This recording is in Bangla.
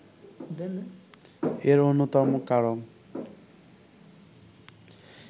এর অন্যতম কারণ